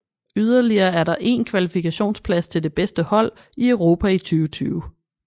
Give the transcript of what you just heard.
Yderligere er der én kvalifikationsplads til det bedste hold i Europa i 2020